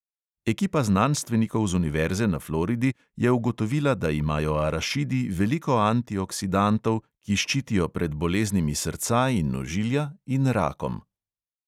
Ekipa znanstvenikov z univerze na floridi je ugotovila, da imajo arašidi veliko antioksidantov, ki ščitijo pred boleznimi srca in ožilja in rakom.